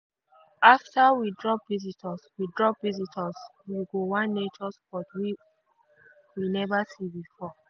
after we drop visitors we drop visitors we go one nature spot we never see before.